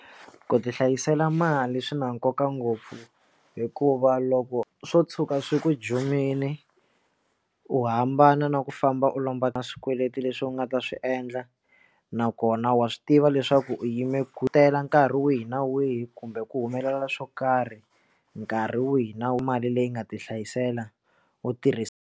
Ku ti hlayisela mali swi na nkoka ngopfu hikuva loko swo tshuka swi ku jumile u hambana na ku famba u lombaka swikweleti leswi u nga ta swi endla nakona wa swi tiva leswaku u yime ngetela nkarhi wihi na wihi kumbe ku humelela swo karhi nkarhi wihi na wihi mali leyi nga ti hlayisela u tirhisa.